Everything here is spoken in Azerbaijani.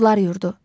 Odlar yurdu.